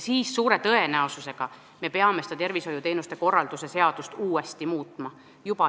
Siis me peame suure tõenäosusega tervishoiuteenuste korraldamise seadust uuesti muutma.